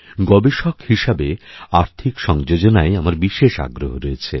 গবেষক হিসেবে আর্থিক সংযোজনায়আমার বিশেষ আগ্রহ রয়েছে